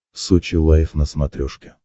сочи лайф на смотрешке